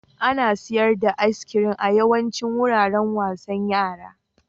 Ana sayar da iskirin a yawaicin wuraren wasan yara.